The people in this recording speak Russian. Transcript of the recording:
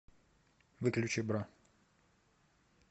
выключи бра